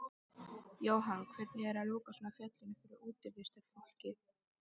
Jóhann: Hvernig er að loka svona fjallinu fyrir útivistarfólki?